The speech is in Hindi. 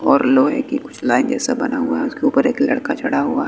और लोहे की कुछ लाइन जैसा बना हुआ है उसके ऊपर एक लड़का चढ़ा हुआ--